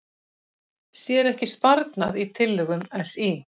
Sér ekki sparnað í tillögum SÍ